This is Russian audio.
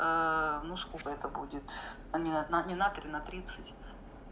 ну сколько это будет а не одна не на три на тридцать